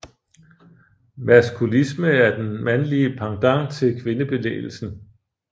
Maskulisme er den mandlige pendant til kvindebevægelsen